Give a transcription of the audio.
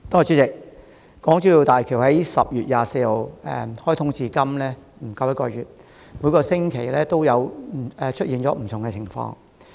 主席，大橋自10月24日開通至今不足一個月，每星期皆出現不同情況。